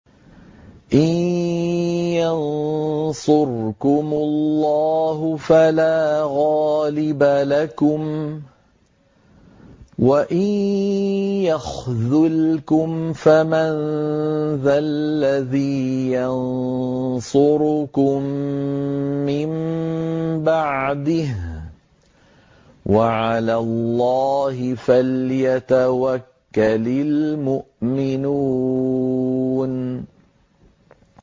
إِن يَنصُرْكُمُ اللَّهُ فَلَا غَالِبَ لَكُمْ ۖ وَإِن يَخْذُلْكُمْ فَمَن ذَا الَّذِي يَنصُرُكُم مِّن بَعْدِهِ ۗ وَعَلَى اللَّهِ فَلْيَتَوَكَّلِ الْمُؤْمِنُونَ